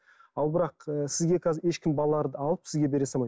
ал бірақ ы сізге қазір ешкім балаларды алып сізге бере салмайды